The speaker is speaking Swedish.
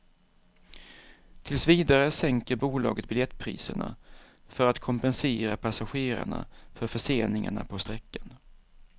Tills vidare sänker bolaget biljettpriserna för att kompensera passagerarna för förseningarna på sträckan.